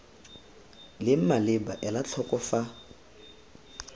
leng maleba ela tlhoko fa